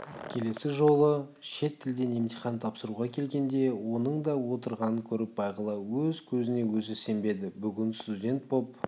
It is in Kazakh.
келесі жолы шет тілден емтихан тапсыруға келгенде оның да отырғанын көріп бағила өз көзіне өзі сенбеді бүгін студент боп